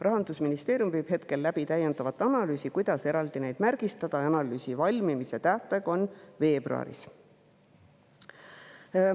Rahandusministeerium viib läbi täiendavat analüüsi, kuidas neid eraldi märgistada, ja analüüsi valmimise tähtaeg on veebruaris.